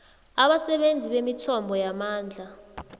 abasebenzisi bemithombo yamandla